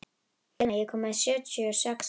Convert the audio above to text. Selina, ég kom með sjötíu og sex húfur!